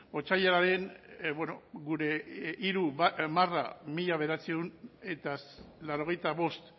otsailaren gure hiru barra mila bederatziehun eta laurogeita bost